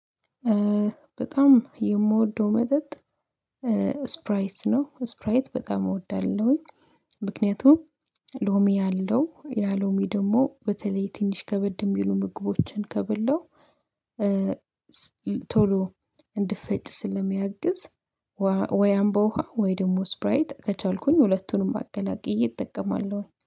በጣም የምወደው መጠጥ ስፕራይት ነው። ስፕራይት በጣም እወዳለሁኝ። ምክንያቱም ሎሚ አለው ያሎሚ ደግሞ በተለይ ትንሽ ከበድን የሚሉ ምግቦችን ከበላው ቶሎ እዲፈጭ ስለሚያግዝ። ወይ አምቦውሃ ወይ ደግሞ ስፕራይት ከቻልኩኝ ሁለቱንም አቀላቅዬ እጠቀማለሁ